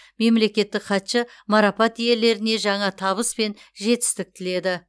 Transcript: мемлекеттік хатшы марапат иелеріне жаңа табыс мен жетістік тіледі